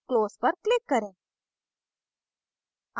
close पर click करें